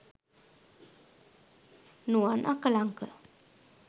nuwan akalanka